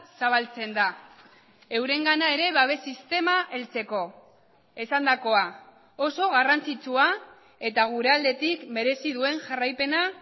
zabaltzen da eurengana ere babes sistema heltzeko esandakoa oso garrantzitsua eta gure aldetik merezi duen jarraipena